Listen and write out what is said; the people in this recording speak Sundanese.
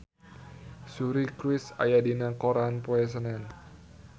Suri Cruise aya dina koran poe Senen